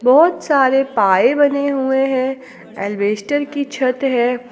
बहोत सारे पाये बने हुए हैं अल्वेस्टर की छत है।